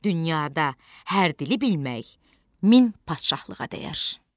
Dünyada hər dili bilmək min padşahlığa dəyər.